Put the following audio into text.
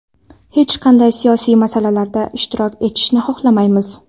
Hech qanday siyosiy masalalarda ishtirok etishni xohlamaymiz.